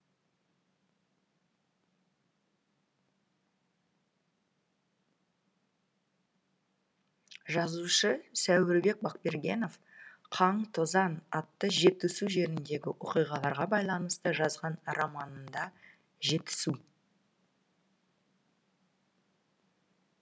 жазушы сәуірбек бақбергенов қан тозаң атты жетісу жеріндегі оқиғаларға байланысты жазған романында жетісу